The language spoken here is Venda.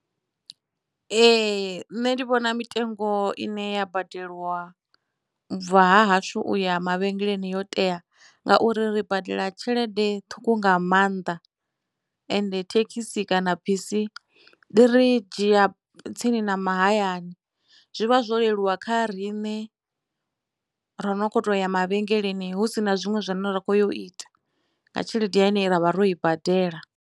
Ee nṋe ndi vhona mitengo ine ya badelwa u bva ha hashu uya mavhengeleni yo tea ngauri ri badela tshelede ṱhukhu nga maanḓa ende thekhisi kana bisi ḽi ri dzhia tsini na mahayani zwi vha zwo leluwa kha riṋe ro no kho to ya mavhengeleni hu sina zwinwe zwine ra khou yo ita nga tshelede ine ravha ro i badela.